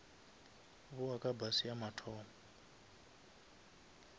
bowa ka bus ya mathomo